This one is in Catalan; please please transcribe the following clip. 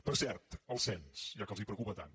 per cert el cens ja que els preocupa tant